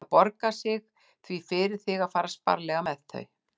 Það borgar sig því fyrir þig að fara sparlega með þau.